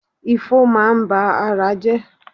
Ifo máa ń ba ara jẹ́.